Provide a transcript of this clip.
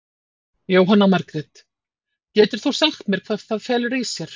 Jóhanna Margrét: Getur þú eitthvað sagt hvað það felur í sér?